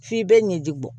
F'i bɛ ɲɛji bɔ